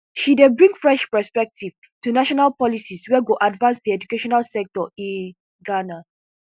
she dey bring fresh perspective to national policies wey go advance di educational sector in ghana